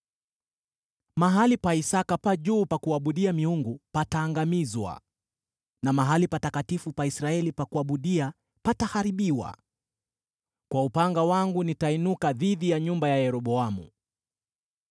“Mahali pa Isaki pa juu pa kuabudia miungu pataangamizwa, na mahali patakatifu pa Israeli pa kuabudia pataharibiwa; kwa upanga wangu nitainuka dhidi ya nyumba ya Yeroboamu.”